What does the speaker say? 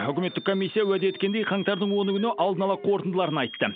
үкіметтік комиссия уәде еткендей қаңтардың оны күні алдын ала қорытындыларын айтты